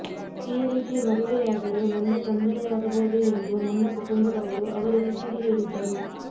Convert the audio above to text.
ಈ ರೀತಿ ಮದುವೆಯಾದರೆ ಮುಂದೆ ತೊಂದರೆಯಾಗಬಹುದು ಎಂದು ನನ್ನ ಕುಟುಂಬದವರು ಅವರಿಗೆ ತಿಳಿ ಹೇಳಿದ್ದರು